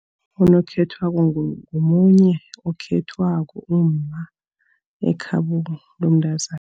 Unokhethwako ngomunye okhethwako umma, ekhabo lomntazana.